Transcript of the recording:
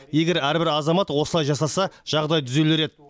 егер әрбір азамат осылай жасаса жағдай түзелер еді